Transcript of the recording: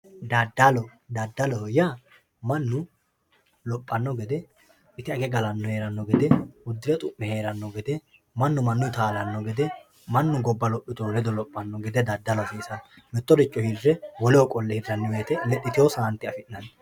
dadalo dadaloho yaa mannu lophanno gede ite age galanno gede udire xu'me heeranno gede mittoricho woleho qolle hirranni gede lexxitewo saante afi'nanni